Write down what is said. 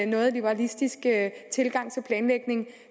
noget liberalistiske tilgang til planlægning